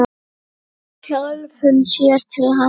Sjálfum sér til handa.